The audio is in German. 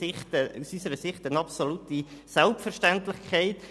Aus unserer Sicht ist das eine absolute Selbstverständlichkeit: